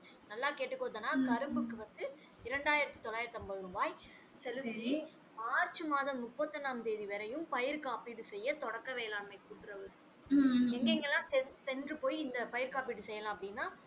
நல்லா கேட்டுக்கோ தனா கரும்புக்கு வந்து இரண்டாயிரத்து தொள்ளாயிறத்து ஐம்பது ரூபாய் செலுத்தி மார்ச் மாதம் முப்பத்து ஒன்னாம் தேதி வரையும் பயிர் காப்பீடு செய்ய தொடக்க வேளாண்மை கூட்டுறவு சங்கம் எங்க எங்கலாம் சென்று போய் இந்த பயிர் காப்பிட்டு செய்யலாம் அப்படின்னா